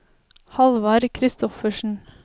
Halvard Christoffersen